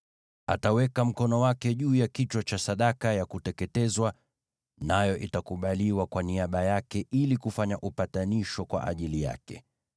Ataweka mkono wake juu ya kichwa cha sadaka ya kuteketezwa, nayo itakubaliwa kwa niaba yake ili kufanya upatanisho kwa ajili yake.